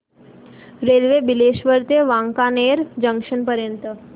railway Bileshwar ते Wankaner junction पर्यंत